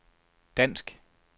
dansk